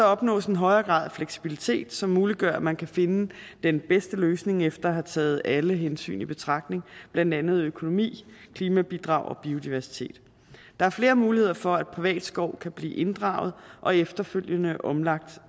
opnås en højere grad af fleksibilitet som muliggør at man kan finde den bedste løsning efter at have taget alle hensyn i betragtning blandt andet økonomi klimabidrag og biodiversitet der er flere muligheder for at privat skov kan blive inddraget og efterfølgende omlagt